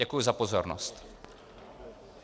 Děkuji za pozornost.